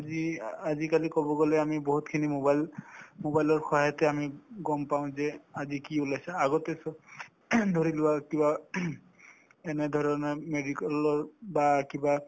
আজি আজিকালি কব গলে আমি বহুতখিনি mobile mobile ৰ সহায়তে আমি গম পাওঁ যে আজি কি ওলাইছে আগতে ধৰিলোৱা কিবা এনেধৰণৰ medical ৰ বা কিবা